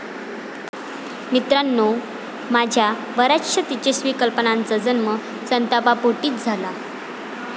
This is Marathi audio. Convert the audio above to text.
मित्रांनो, माझ्या बऱ्याचशा तेजस्वी कल्पनांचा जन्म संतापापोटीच झाला.